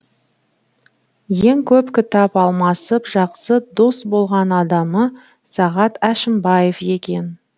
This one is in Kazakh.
ең көп кітап алмасып жақсы дос болған адамы сағат әшімбаев екен